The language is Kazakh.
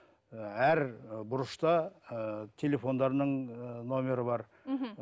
ыыы әр ы бұрышта ыыы телефондарының ыыы нөмірі бар мхм